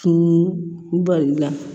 Kun balila